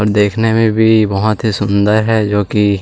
और देखने में भी बहुत ही सुन्दर है जो की --